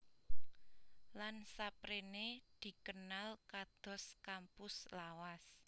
Lan saprene dikenal kados kampus lawas